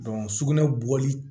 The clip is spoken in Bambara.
sugunɛ bɔli